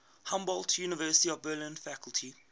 humboldt university of berlin faculty